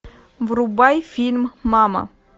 врубай фильм мама